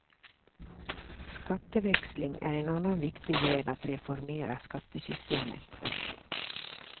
Skatteväxling är en annan viktig väg att reformera skattesystemet.